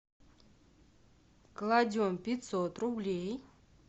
кладем пятьсот рублей